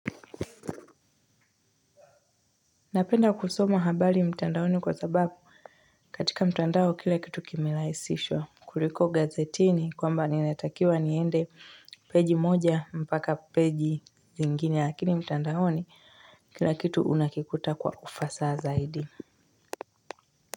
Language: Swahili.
Napenda kusoma habali mtandaoni kwa sababu katika mtandao kila kitu kimelaisishwa kuliko gazetini kwamba ninatakiwa niende page moja mpaka page nyingine lakini mtandaoni kila kitu unakikuta kwa ufasaha zaidi.